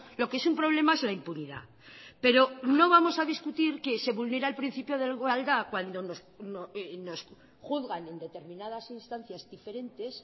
lo que es un problema es la impunidad pero no vamos a discutir que se vulnera el principio de igualdad cuando nos juzgan en determinadas instancias diferentes